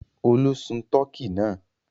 Olú sun tọkí náà?